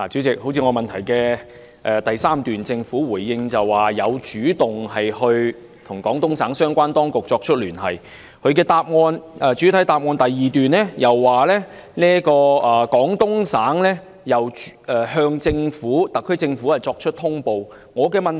就我的質詢第三部分，政府回應稱有主動與廣東省相關當局聯繫，而主體答覆第二部分又指出，廣東省有向特區政府作出通報。